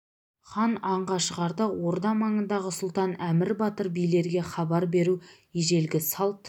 хан аңға шығарда орда маңындағы сұлтан әмір батыр билерге хабар беру ежелгі салт